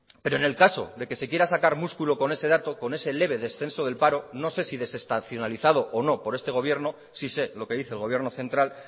pero en el caso de que se quiera sacar músculo con ese dato con ese leve descenso del paro no sé si desestacionalizado o no por este gobierno sí sé lo que dice el gobierno central